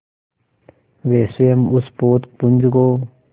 वे स्वयं उस पोतपुंज को